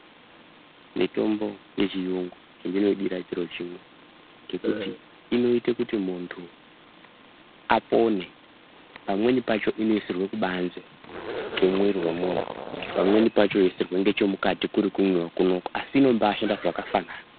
Mitombo yechiyungu chandinoidira chiro chimwe chekuti inoite kuti muntu apone pamweni pacho inoisirwe kubanze komuwiri womuntu, pamweni pacho yoisirwe nechemukati iri kurewo kunoku asi ino mbaa shanda zvakafanana.